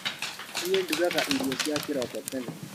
Niĩ ndugaga irio cia kĩroko tene.